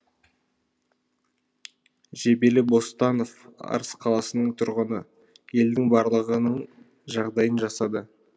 жебелі бостанов арыс қаласының тұрғыны елдің барлығының жағдайын жасады